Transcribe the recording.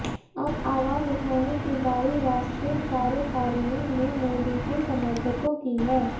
अब आवाज उठाने की बारी राष्ट्रीय कार्यकारिणी में मोदी के समर्थकों की है